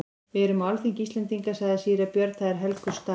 Við erum á alþingi Íslendinga, sagði síra Björn,-það er helgur staður.